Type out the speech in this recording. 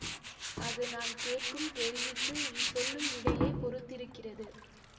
அது நான் கேட்கும் கேள்விக்கு நீ சொல்லும் விடையைப் பொறுத்திருக்கிறது